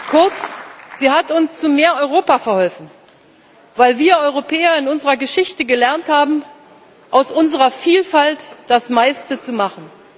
Kurz Sie hat uns zu mehr Europa verholfen. Weil wir Europäer in unserer Geschichte gelernt haben, aus unserer Vielfalt das meiste zu machen.